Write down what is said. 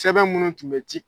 Sɛbɛn minnu tun bɛ ci